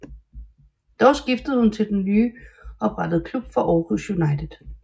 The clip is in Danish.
Dog skiftede hun til den nye oprettede klub fra Aarhus United